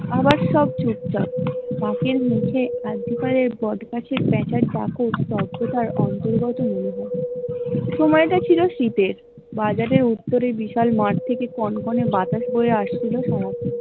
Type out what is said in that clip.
আবার সব চুপ চাপ পাঁকের নিচে বট গাছের প্যাঁচার দাপট অন্তর্গত মনে হয়, সময় টা ছিল শিতের বাজারের উত্তরের বিশাল মাঠ থেকে কনকনে বাতাস বয়ে আসছিল ।